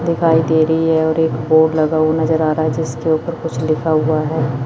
दिखाई दे रही है और एक बोर्ड लगा हु नजर आ रहा है जिसके ऊपर कुछ लिखा हुआ है।